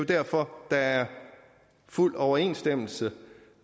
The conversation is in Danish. derfor der er fuld overensstemmelse